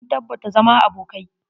Mun tabbata zama abokai.